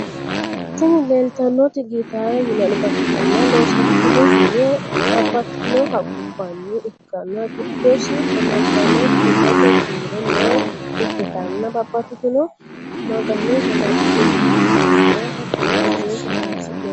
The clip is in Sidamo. Tini leletanonoti gitarete yinanita ikitana loosanitinohuno babatitino haqubani ikana gidosi amadano kirete kiro lee ikitana babatitino magano maganinaniwana hattono zefenet horonisinanni